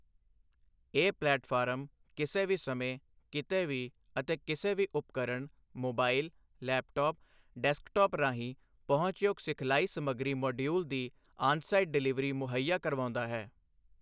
ਇਹ ਪਲੇਟਫ਼ਾਰਮ ਕਿਸੇ ਵੀ ਸਮੇਂ, ਕਿਤੇ ਵੀ ਅਤੇ ਕਿਸੇ ਵੀ ਉਪਕਰਣ ਮੋਬਾਇਲ ਲੈਪਟੌਪ ਡੈਸਕਟੌਪ ਰਾਹੀਂ ਪਹੁੰਚਯੋਗ ਸਿਖਲਾਈ ਸਮੱਗਰੀ ਮੌਡਿਯੂਲਸ ਦੀ ਆਨਸਾਈਟ ਡਿਲਿਵਰੀ ਮੁਹੱਈਆ ਕਰਵਾਉਂਦਾ ਹੈ।